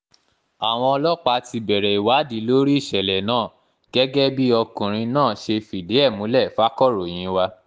àwọn ọlọ́pàá ti bẹ̀rẹ̀ ìwádìí lórí ìṣẹ̀lẹ̀ náà gẹ́gẹ́ bí ọkùnrin náà ṣe fìdí ẹ̀ múlẹ̀ fàkọ̀ròyìn wa